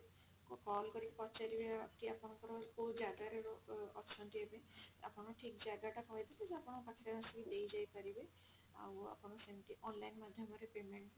ଆଉ call କରିକି ପଚାରିବେ କି ଆପଣଙ୍କର କଉ ଜାଗା ରେ ଅ ଅଛନ୍ତି ଏବେ ଆପଣ ଠିକ ଜାଗା ଟା କହିଦେଲେ ସେ ଆପଣଙ୍କ ପାଖରେ ଆସିକି ଦେଇ ଯାଇ ପାରିବେ ଆଉ ଆପଣ ସେମତି online ମାଧ୍ୟମ ରେ payment